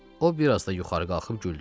O, biraz da yuxarı qalxıb güldü.